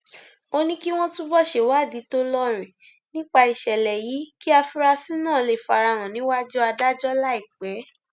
ó ní kí wọn túbọ ṣèwádìí tó lóòrìn nípa ìṣẹlẹ yìí kí àfúrásì náà lè fara hàn níwájú adájọ láìpẹ